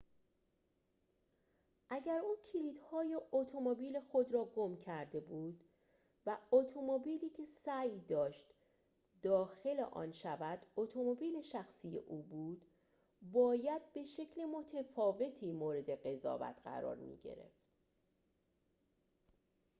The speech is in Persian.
اگر او کلیدهای اتومبیل خود را گم کرده بود و اتومبیلی که سعی داشت داخل آن شود اتومبیل شخصی او بود باید به شکل متفاوتی مورد قضاوت قرار می‌گرفت